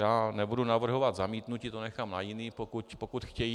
Já nebudu navrhovat zamítnutí, to nechám na jiných, pokud chtějí.